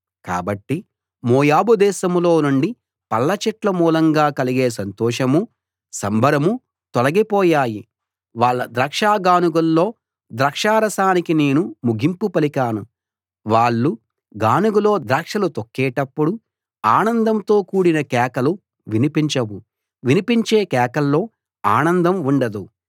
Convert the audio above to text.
కాబట్టి మోయాబు దేశంలో నుండి పళ్ళ చెట్ల మూలంగా కలిగే సంతోషమూ సంబరమూ తొలగిపోయాయి వాళ్ళ ద్రాక్ష గానుగల్లో ద్రాక్షారసానికి నేను ముగింపు పలికాను వాళ్ళు గానుగలో ద్రాక్షలు తొక్కేటప్పుడు ఆనందంతో కూడిన కేకలు వినిపించవు వినిపించే కేకల్లో ఆనందం ఉండదు